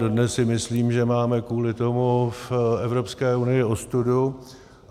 Dodnes si myslím, že máme kvůli tomu v Evropské unii ostudu.